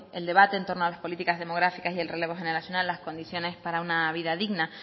el debate en torno a las políticas demográficas y el relevo generacional las condiciones para una vida digna